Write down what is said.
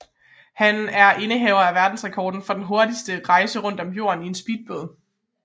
Han er indehaver af verdensrekorden for den hurtigste rejse rundt om jorden i en speedbåd